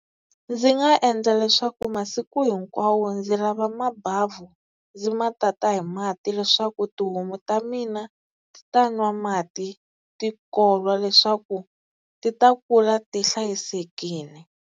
Ndzi nga endla leswaku masiku hinkwawo ndzi lava mabavhu ndzi ma tata hi mati leswaku tihomu ta mina ti ta nwa mati ti kolwa leswaku ti ta kula ti hlayisekile.